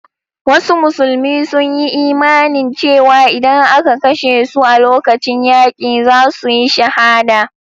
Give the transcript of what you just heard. Wasu musulmi sun yi imanin cewa idan aka kashe su a lokacin yaki, za su yi shahada.